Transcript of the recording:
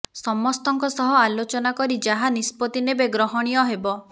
ସମସ୍ତଙ୍କ ସହ ଆଲୋଚନା କରି ଯାହା ନିଷ୍ପତ୍ତି ନେବେ ଗ୍ରହଣୀୟ ହେବ